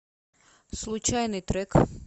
случайный трек